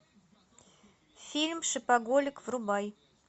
фильм шопоголик врубай